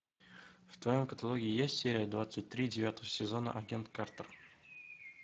в твоем каталоге есть серия двадцать три девятого сезона агент картер